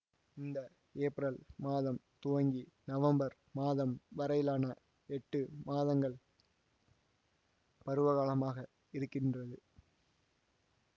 இங்கு ஏப்ரல் மாதம் துவங்கி நவம்பர் மாதம் வரையிலான எட்டு மாதங்கள் பருவகாலமாக இருக்கின்றது